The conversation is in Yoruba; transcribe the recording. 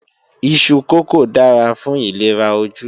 Iṣu kókò dára fún ìlera ojú